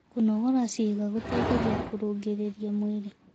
Kũnogora ciĩga gũteĩthagĩa kũrũngĩrĩrĩa mwĩrĩ